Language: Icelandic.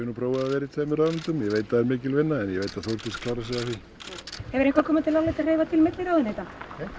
nú prófað að vera í tveimur ráðuneytum ég veit að það er mikil vinna en ég veit að Þórdís klárar sig af því hefur eitthvað komið til álita að hreyfa til milli ráðuneyta nei